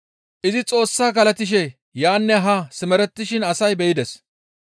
Izi Xoossa galatishe yaanne haa simerettishin asay be7ides.